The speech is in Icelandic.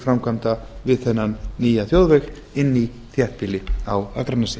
framkvæmda við þennan nýja þjóðveg inn í þéttbýli á akranesi